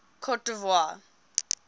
cote d ivoire